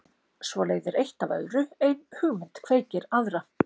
Svo leiðir eitt af öðru, ein hugmynd kveikir aðra.